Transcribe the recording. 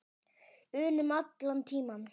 unum allan tímann.